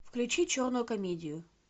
включи черную комедию